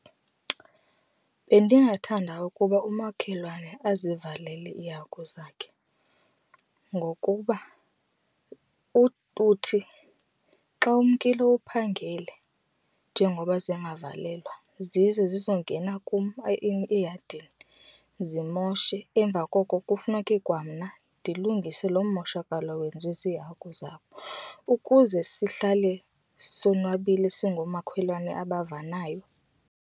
Bendingathanda ukuba umakhelwane azivalele iihagu zakhe ngokuba uthi xa umkile uphangele njengoba zingavalelwa zize zizongena kum eyadini zimoshe, emva koko kufuneke kwamna ndilungise lo mmoshakalo wenziwe ziihagu zabo. Ukuze sihlale sonwabile singoomakhelwane abavanayo.